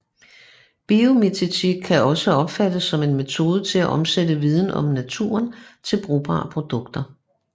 Biomimetik kan også opfattes som en metode til at omsætte viden om naturen til brugbare produkter